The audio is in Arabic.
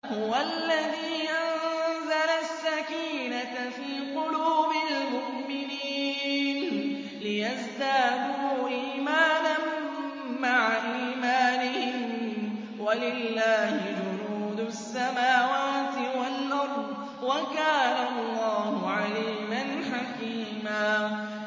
هُوَ الَّذِي أَنزَلَ السَّكِينَةَ فِي قُلُوبِ الْمُؤْمِنِينَ لِيَزْدَادُوا إِيمَانًا مَّعَ إِيمَانِهِمْ ۗ وَلِلَّهِ جُنُودُ السَّمَاوَاتِ وَالْأَرْضِ ۚ وَكَانَ اللَّهُ عَلِيمًا حَكِيمًا